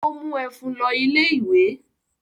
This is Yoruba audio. Ó mú ẹ̀fún lọ ilé-ìwé?